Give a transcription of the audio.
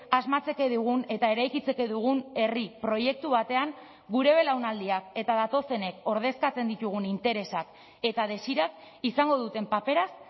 asmatzeke dugun eta eraikitzeke dugun herri proiektu batean gure belaunaldiak eta datozenek ordezkatzen ditugun interesak eta desirak izango duten paperaz